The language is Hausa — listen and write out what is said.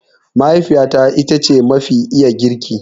Mahaifiyata ita ce mafi iya girki.